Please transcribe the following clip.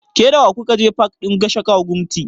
Ke da wa ku ka je pak ɗin Gashaka Gumti?